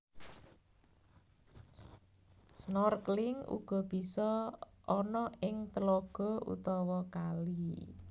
Snorkeling uga bisa ana ing telaga utawa kali